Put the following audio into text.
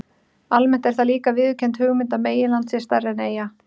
Almennt er það líka viðurkennd hugmynd að meginland sé stærra en eyja.